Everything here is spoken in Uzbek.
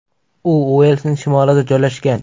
U Uelsning shimolida joylashgan.